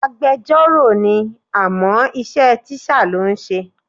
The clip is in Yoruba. Agbejọ́rò ni àmọ́ iṣẹ́ tíṣà ló ń ṣe.